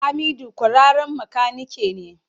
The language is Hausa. Hamidu kwararren makanike ne.